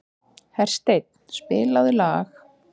Hersteinn, spilaðu lag.